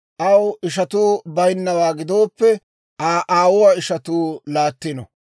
aw ishatuu baynnawaa gidooppe, Aa aawuwaa ishatuu laattino;